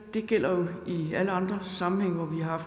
det gælder jo i alle andre sammenhænge hvor vi har